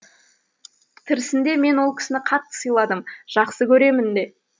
тірісінде мен ол кісіні қатты сыйладым жақсы көремін де